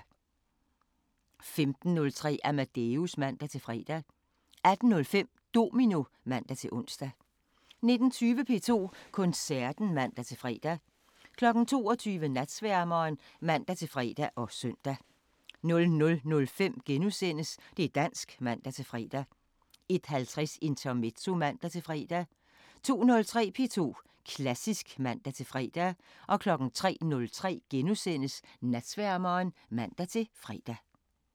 15:03: Amadeus (man-fre) 18:05: Domino (man-ons) 19:20: P2 Koncerten (man-fre) 22:00: Natsværmeren (man-fre og søn) 00:05: Det' dansk *(man-fre) 01:50: Intermezzo (man-fre) 02:03: P2 Klassisk (man-fre) 03:03: Natsværmeren *(man-fre)